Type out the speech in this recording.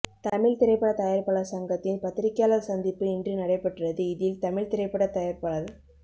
தமிழ் திரைப்பட தயாரிப்பாளர் சங்கத்தின் பத்ரிகையாளர் சந்திப்பு இன்று நடைபெற்றது இதில் தமிழ் திரைப்பட தயாரிப்பாளர்